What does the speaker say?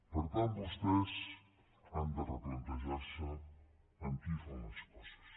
per tant vostès han de replantejarse amb qui fan les coses